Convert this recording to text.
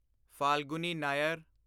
Falguni Nair